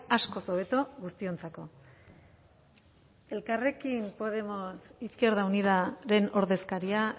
askoz hobeto guztiontzako elkarrekin podemos izquierda unidaren ordezkaria